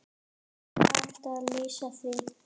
Er hægt að lýsa því?